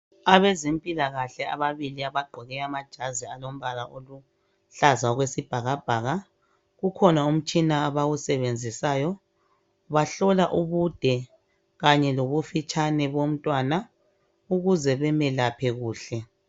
Abezempilakahle ababili abaqoke amajazi alombala oluhlaza okwesibhakabhaka, kukhona umtshina abawusebenzisayo bahlola ubude kanye lobufitshane bomntwana ukuze bemelaphe kuhle.